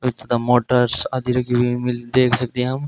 With the motors आदि रखी हुई है देख सकते है हम।